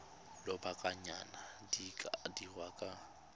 lobakanyana di ka dirwa kwa